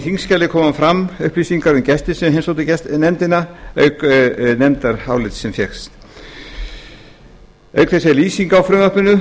þingskjali koma fram upplýsingar um gesti sem heimsóttu nefndina auk nefndarálitsins hér auk þess er lýsing á frumvarpinu